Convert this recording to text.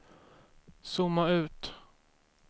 zooma ut